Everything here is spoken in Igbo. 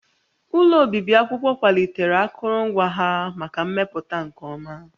Ụlọ obibi akwụkwọ kwalitere akụrụngwa ha maka mmepụta nke ọma